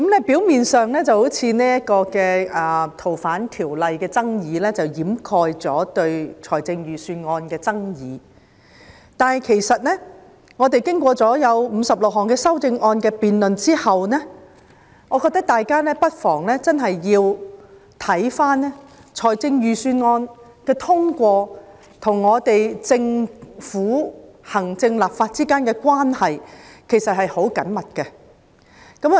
表面上，修訂《逃犯條例》的爭議似乎掩蓋了大家對預算案的爭議，但經過56項修正案的辯論後，大家應該看到，預算案的通過，其實與行政和立法之間的關係十分緊密。